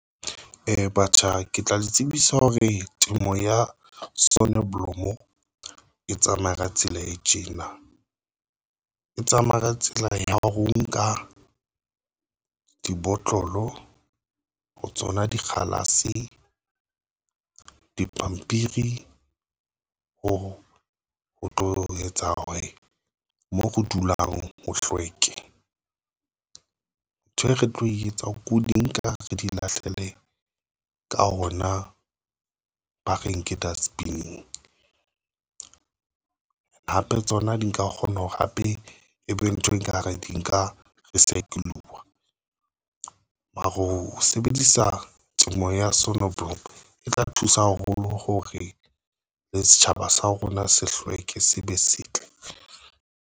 batjha ke tla le tsebisa hore temo ya sonneblomo e tsamaya ka tsela e tjena e tsamaya ka tsela ya ho nka dibotlolo ho tsona dikgalase, dipampiri ho tlo etsa hore moo ho dulang ho hlweke. Ntho e re tlo e etsa ho di nka re di lahlele ka hona ba reng ke dustbin-eng hape tsona di nka kgona hore hape ebe ntho e reng ka hara di? Maro sebedisa temo ya sonneblom e tla thusa haholo hore le setjhaba sa rona se hlweke.